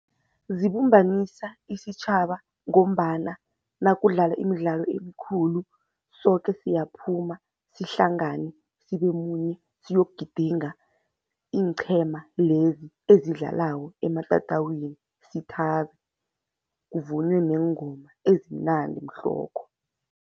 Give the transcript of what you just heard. Zibumbanisa isitjhaba ngombana nakudlala imidlalo emikhulu soke siyaphuma sihlangane sibe munye siyokugidinga iinqhema lezi ezidlalako ematatawini. Sithabe, kuvunywe neengoma ezimnandi mhlokho.